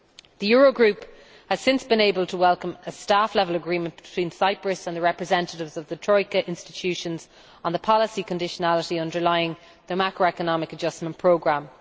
The Eurogroup has since been able to welcome a staff level agreement between Cyprus and the representatives of Troika institutions on the policy conditionality underlying the macroeconomic adjustment programme.